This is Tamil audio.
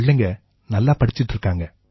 பிள்ளைங்க நல்லா படிச்சுக்கிட்டு இருக்காங்க